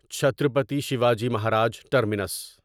Chhatrapati Shivaji Maharaj terminus